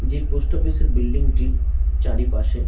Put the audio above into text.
যে post office -এর building -টির চারিপাশে--